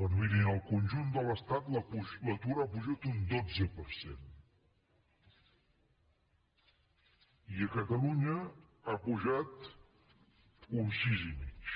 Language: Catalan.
doncs miri en el conjunt de l’estat l’atur ha pujat un dotze per cent i a catalunya ha pujat un sis i mig